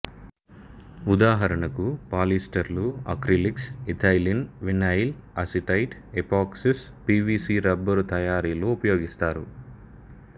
ఉదాహరణకు పాలిఈస్టరులు acrylics ethylene vinyl acetate epoxies P V C rubber తయారీలో ఉపయోగిస్తారు